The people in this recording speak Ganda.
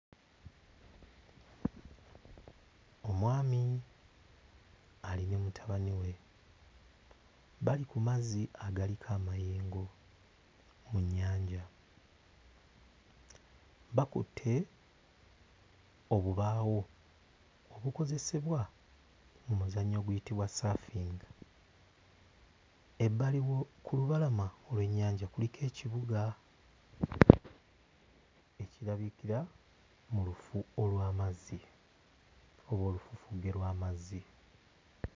Omwami ali ne mutabani we bali ku mazzi agaliko amayengo ku nnyanja, bakutte obubaawo obukozesebwa mu muzannyo oguyitibwa saafingi. Ebbali wo ku lubalama lw'ennyanja kuliko ekibuga ekirabikira mu lufu olw'amazzi oba olufufugge lw'amazzi.